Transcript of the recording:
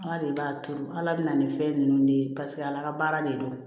Ala de b'a turu ala bɛna ni fɛn ninnu de ye paseke ala ka baara de don